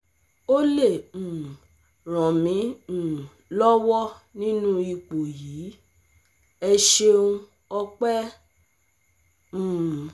o lè um ràn mí um lọ́wọ́ nínú ipò yìí? ẹ ṣeun ọ̀pẹ́ xxxxx um